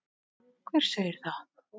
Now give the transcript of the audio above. Hver segir það?